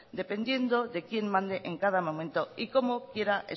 dependiendo de quién mande en cada momento y cómo quiera